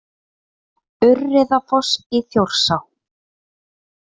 Urriðafoss í Þjórsá.